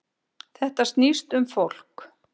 Þetta snýst um fólk